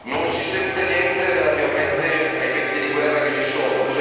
Non si sente niente relativamente ai venti di guerra che ci sono.